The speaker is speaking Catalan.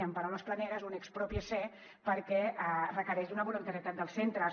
en paraules planeres un exprópiese perquè requereix una voluntarietat dels centres